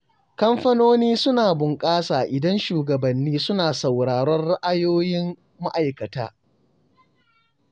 Kamfanoni suna bunƙasa idan shugabanni suna saurarar ra’ayoyin ma’aikata.